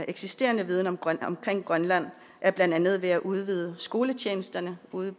eksisterende viden om grønland er blandt andet ved at udvide skoletjenesterne ude